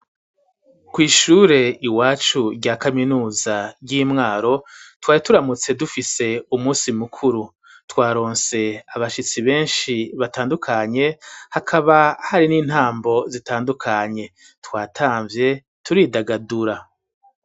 Kw'ishure iwacu, rya kaminuza, ry'i Mwaro, twari turamutse, dufise umunsi mukuru; twaronse abashitsi benshi, batandukanye; hakaba hari n'intambo, zitandukanye, twatamvye, turidagadura.